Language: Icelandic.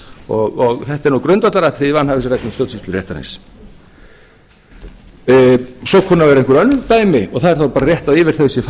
og þetta er nú grundvallaratriði í vanhæfisreglum stjórnsýsluréttarins svo kunna að vera einhver önnur dæmi og það er þá bara rétt að yfir þau sé